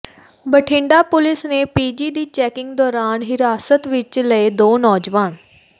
Bathinda police ਨੇ PG ਦੀ checking ਦੌਰਾਨ ਹਿਰਾਸਤ ਵਿਚ ਲਏ ਦੋ ਨੌਜਵਾਨ